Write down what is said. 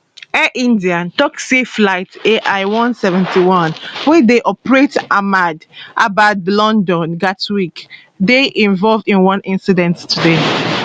air india tok say flight ai171 wey dey operate ahmedabadlondon gatwick dey involved in one incident today